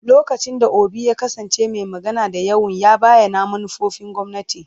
Lokacin da Obi ya kasance mai magana da yawun, ya bayyana manufofin gwamnati.